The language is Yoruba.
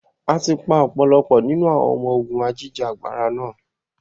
Áà tí pa ọ̀pọ̀lọpọ̀ nínú àwọn ọmọ ogún Ajìjà gbara náà.